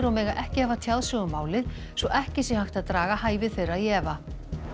og mega ekki hafa tjáð sig um málið svo ekki sé hægt að draga hæfi þeirra í efa